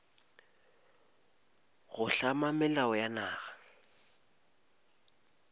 go hlama melao ya naga